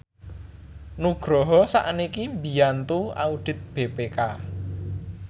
Nugroho sakniki mbiyantu audit BPK